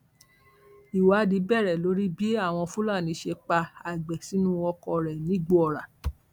ìwádìí bẹrẹ lórí bí àwọn fúlàní ṣe pa àgbẹ sínú ọkọ rẹ nìgbòòrà